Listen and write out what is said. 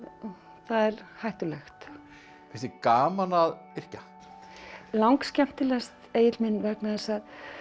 það er hættulegt finnst þér gaman að yrkja langskemmtilegast Egill minn vegna þess að